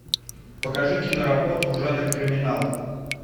покажи киноработу в жанре криминал